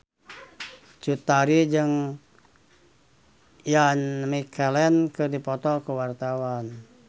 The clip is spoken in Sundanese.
Cut Tari jeung Ian McKellen keur dipoto ku wartawan